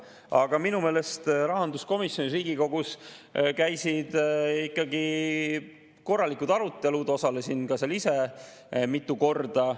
Aga minu meelest Riigikogu rahanduskomisjonis käisid ikka korralikud arutelud, osalesin ka ise mitu korda.